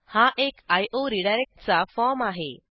हा एक iओ रिडायरेक्ट चा फॉर्म आहे